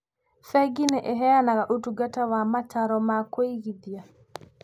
Bengi nĩ ĩheanaga ũtungata wa mataaro ma kũigithia.